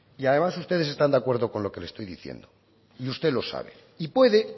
y además ustedes están de acuerdo con lo que le estoy diciendo y usted lo sabe y puede